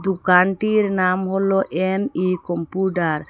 দোকানটির নাম হল এন_ই ।